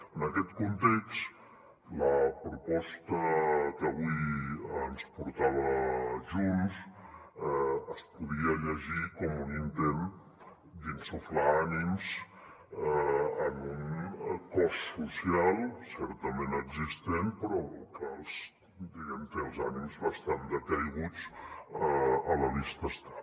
en aquest context la proposta que avui ens portava junts es podia llegir com un intent d’insuflar ànims en un cos social certament existent però que diguem ne té els ànims bastant decaiguts a la vista està